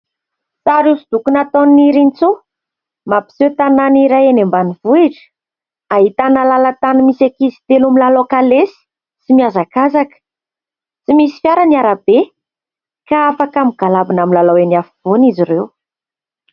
Sary hosodoko nataon'i Nirintsoa ; mampiseho tanàna iray eny ambanivohitra ; ahitana lalan-tany misy ankizy telo milalao kalesy sy miazakazaka. Tsy misy fiara ny arabe ka afaka migalabona milalao eny afovoany izy ireo.